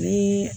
Ni